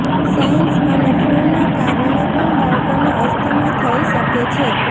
science અને ફ્લૂના કારણે પણ બાળકોને અસ્થમા થઈ શકે છે